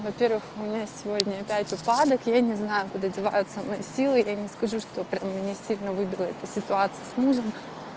во-первых у меня сегодня опять упадок я не знаю куда деваются мои силы я не скажу что прямо меня сильно выбила эта ситуация с мужем